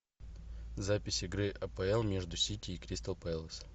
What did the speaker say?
запись игры апл между сити и кристал пэлас